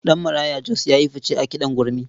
Ɗanmarayo Jos ya yi fice a kiɗan gurmi.